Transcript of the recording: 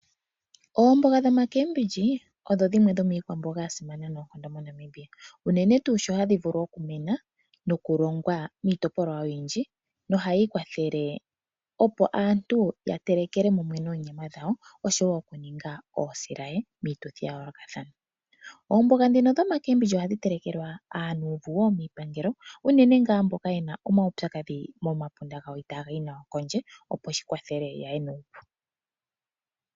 Oomboga dhomakeembidji, odho dhimwe dhomiikwamboga yasimana noonkondo moNamibia. Unene tuu sho hadhi vulu okumena nokulongwa miitopolwa oyindji, nohayi kwathele opo aantu ya telekele mumwe noonyama dhawo, osho wo oku ninga oosilaye miituthi ya yoolokathana. Oomboga ndhino dhomakeembidji ohadhi telekelwa aanuuvu wo miipangelo, unene ngaa mboka ye na omaupyakadhi momapunda gawo itaa ga yi nawa kondje, opo shikwathele yaye nuupu.